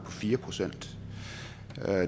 fire procent